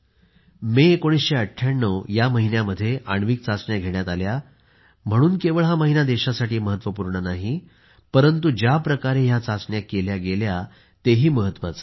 मे 1998 या महिन्यामध्ये आण्विक चाचण्या घेण्यात आल्या म्हणून केवळ हा महिना देशासाठी महत्त्वपूर्ण नाही परंतु ज्याप्रकारे ह्या चाचण्या केल्या गेल्या हे महत्त्वाचे आहे